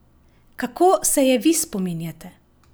Kako se je vi spominjate?